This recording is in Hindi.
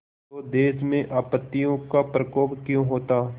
तो देश में आपत्तियों का प्रकोप क्यों होता